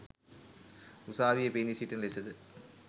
උසාවියේ පෙනී සිටින ලෙසද